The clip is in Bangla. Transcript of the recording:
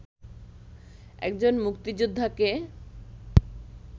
একজন মুক্তিযোদ্ধাকে